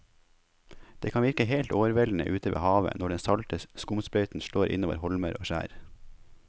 Det kan virke helt overveldende ute ved havet når den salte skumsprøyten slår innover holmer og skjær.